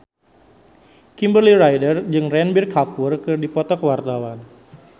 Kimberly Ryder jeung Ranbir Kapoor keur dipoto ku wartawan